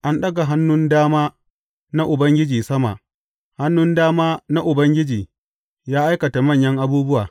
An ɗaga hannun dama na Ubangiji sama; hannun dama na Ubangiji ya aikata manyan abubuwa!